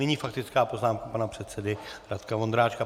Nyní faktická poznámka pana předsedy Radka Vondráčka.